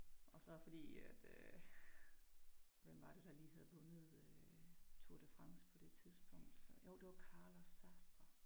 Og så fordi at øh hvem var det der lige havde vundet øh Tour de France på det tidspunkt? Så jo det var Carlos Sastre